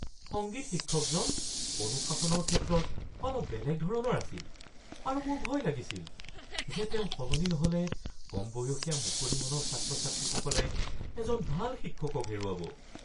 সংগীত শিক্ষকজন অনুশাসনৰ ক্ষেত্ৰত অলপ বেলেগ ধৰণৰ আছিল, আৰু মোৰ ভয় লাগিছিল যে তেওঁ সলনি নহ'লে কমবয়সীয়া মুকলি মনৰ ছাত্ৰ-ছাত্ৰীসকলে এজন ভাল শিক্ষকক হেৰুৱাব।